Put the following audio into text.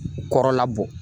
Kɔrɔla bɔ.